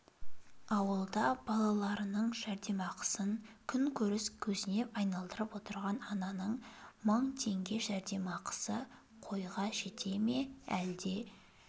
ауылда балаларының жәрдемақысын күнкөріс көзіне айналдырып отырған ананың мың теңге жәрдемақысы қойға жете ме әлде